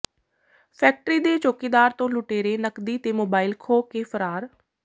factory ਦੇ ਚੌਕੀਦਾਰ ਤੋਂ ਲੁਟੇਰੇ ਨਕਦੀ ਤੇ ਮੋਬਾਈਲ ਖੋਹ ਕੇ ਫ਼ਰਾਰ